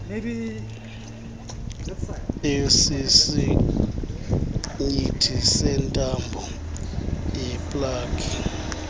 esisinyithi yentambo yeplagi